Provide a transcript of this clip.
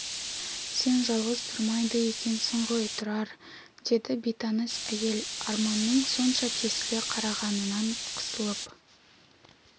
сен жалғыз тұрмайды екенсің ғой тұрар деді бейтаныс әйел арманның сонша тесіле қарағанынан қысылып